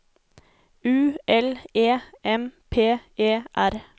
U L E M P E R